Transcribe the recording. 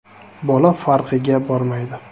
Bola farqiga bormaydi.